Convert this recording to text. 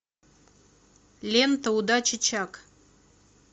лента удачи чак